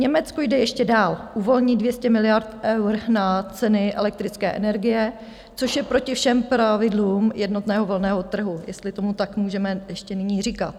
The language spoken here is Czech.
Německo jde ještě dál, uvolní 200 miliard eur na ceny elektrické energie, což je proti všem pravidlům jednotného volného trhu, jestli tomu tak můžeme ještě nyní říkat.